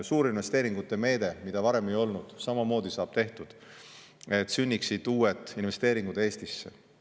Suurinvesteeringute meede, mida varem ei olnud, samamoodi saab tehtud, et sünniksid uued investeeringud Eestisse.